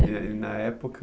E na época...